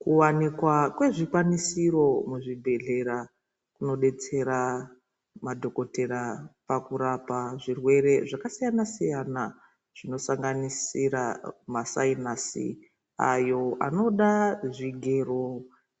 Kuwanikwa kwezvikwanisiro muzvibhedlera ,kunodetsera madhogodhera pakurapa zvirwere zvakasiyana siyana zvinosanganisira masayinasi ayo anoda zvigero